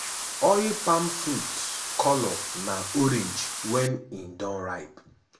oil palm fruits colour na orange wen e don ripe.